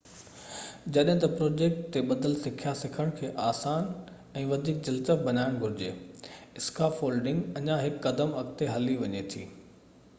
جڏهن ته پروجيڪٽ تي ٻڌل سکيا سکڻ کي آسان ۽ وڌيڪ دلچسپ بڻائڻ گهرجي اسڪافولڊنگ اڃان هڪ قدم اڳتي هلي وڃي ٿي